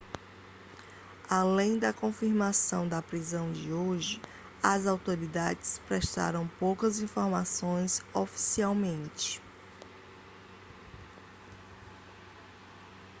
além da confirmação da prisão de hoje as autoridades prestaram poucas informações oficialmente